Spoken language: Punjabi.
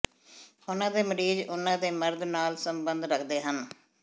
ਉਨ੍ਹਾਂ ਦੇ ਮਰੀਜ਼ ਉਨ੍ਹਾਂ ਦੇ ਮਰਦ ਨਾਲ ਸੰਬੰਧ ਰੱਖਦੇ ਹਨ